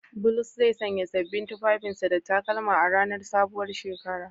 Bulus zai sanya sabbin tufafin sa da takalma a ranar sabuwar shekara.